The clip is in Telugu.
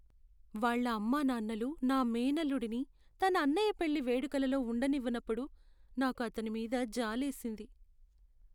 వాళ్ళ అమ్మానాన్నలు నా మేనల్లుడిని తన అన్నయ్య పెళ్లి వేడుకలలో ఉండనివ్వనప్పుడు, నాకు అతని మీద జాలేసింది.